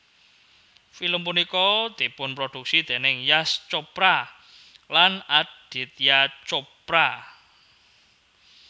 Film punika dipunproduksi dèning Yash Chopra lan Aditya Chopra